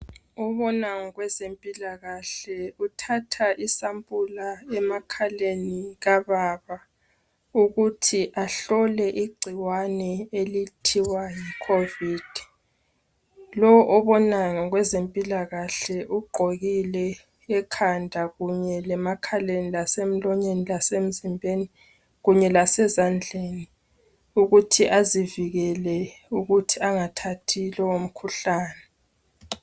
Obona ngokwempilakahle uthatha isampula emakhaleni kababa ukuthi ahlole igcikwane elithiwa yi COVID. Lo obona ngokwezempilakahle ugqokile ekhanda kunye lemakhaleni lasemlonyeni lasemzimbeni kunye lasezandleni ukuthi azivikele ukuthi angathathi lowomkhuhlane.